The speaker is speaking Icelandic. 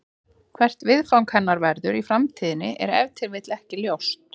Hvert viðfang hennar verður í framtíðinni er ef til vill ekki ljóst.